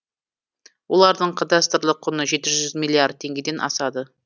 олардың кадастрлық құны жеті жүз миллиард теңгеден асады